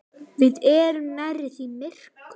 Við erum nærri því myrkur